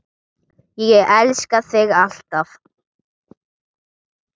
Ég elska þig alltaf.